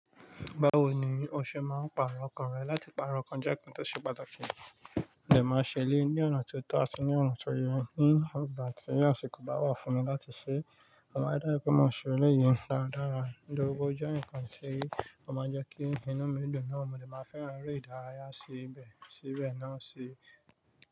Báwo ni o ṣe máa ń pàrọ̀ ọkàn rẹ? Láti pàrọ̀ ǹkan jẹ́ ǹkan tí ó ṣe pàtàkì. Òní lè máa ṣe ilé ní ọ̀nà tó tọ́ àti ní ọ̀ràn tó yẹ ní ìgbà tí ọ̀ṣùkù bá wà fún mi láti ṣe, mo máa dárí pé mo ṣe ilé yìí nípa dára. Ido ogun jẹ́ ǹkan tí ó máa jẹ́ kí inú mi dùn náà mo lè máa fẹ́ran eré ìdárayá sí ibẹ̀ síbẹ̀ náà sí.